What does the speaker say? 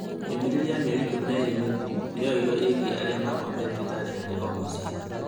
Ndũmĩrĩri ya mĩeri ikũmi na ĩĩrĩ mĩthiru nĩyoirwo ĩĩgiĩ arĩa makomire thibitarĩ harĩ o-mũciĩ